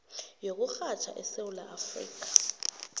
yokurhatjha esewula afrika